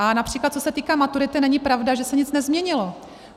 A například co se týká maturity, není pravda, že se nic nezměnilo.